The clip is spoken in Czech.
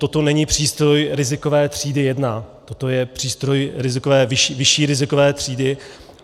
Toto není přístroj rizikové třídy jedna, toto je přístroj vyšší rizikové třídy.